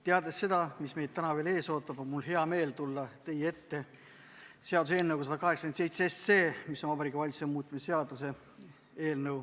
Teades seda, mis meid täna veel ees ootab, on mul hea meel tulla teie ette seaduseelnõuga 187, milleks on Vabariigi Valitsuse seaduse muutmise seaduse eelnõu.